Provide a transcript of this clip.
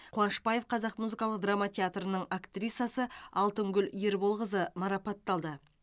қуанышбаев қазақ музыкалық драма театрының актрисасы алтынгүл ерболқызы марапатталды